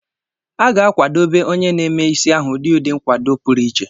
A ga-akwadebe onye na-eme is ahu udi udi nkwado puru ichie